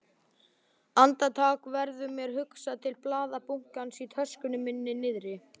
Andartak verður mér hugsað til blaðabunkans í töskunni minni niðri.